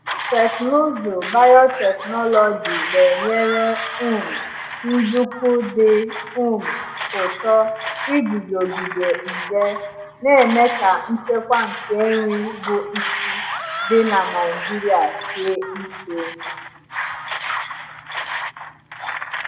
Teknụzụ biotechnology na-enyere um nduku dị um ụtọ iguzogide nje, na-eme ka nchekwa nke nri bụ isi dị na Naijiria sie ike.